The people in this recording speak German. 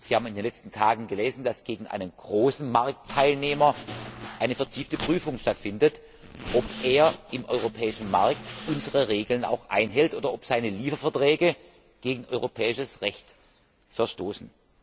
Sie haben in den letzten Tagen gelesen, dass gegen einen großen Marktteilnehmer eine vertiefte Prüfung stattfindet, ob er im europäischen Markt unsere Regeln einhält oder ob seine Lieferverträge gegen europäisches Recht verstoßen.